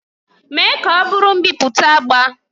Mee ka ọ bụrụ mbipụta agba!